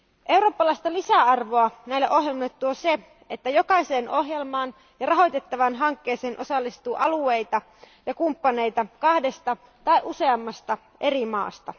Eurooppalaista lisäarvoa näille ohjelmille tuo se, että jokaiseen ohjelmaan ja rahoitettavaan hankkeeseen osallistuu alueita ja kumppaneita kahdesta tai useammasta eri maasta.